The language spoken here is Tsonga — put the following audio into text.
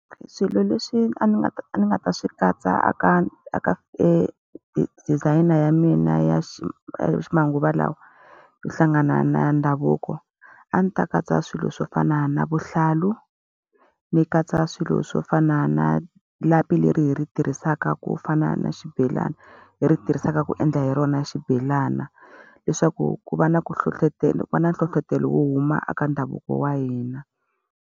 Swilo leswi a ni nga ta a ni nga ta swi katsa eka eka designer ya mina ya ximanguva lawa yo hlangana na ndhavuko, a ndzi ta katsa swilo swo fana na vuhlalu, ni katsa swilo swo fana na lapi leri hi ri tirhisaka ku fana na xibelani, hi ri tirhisaka ku endla hi rona xibelana. Leswaku ku va na ku ku va na nhlohlotelo wo huma eka ndhavuko wa hina.